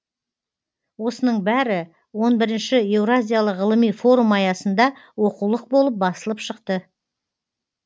осының бәрі он бірінші еуразиялық ғылыми форум аясында оқулық болып басылып шықты